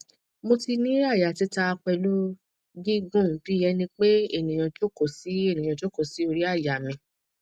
mo tin ni aya tita pelu gigun bi ẹnipe eniyan joko si eniyan joko si ori aya mi